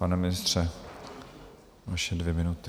Pane ministře, vaše dvě minuty.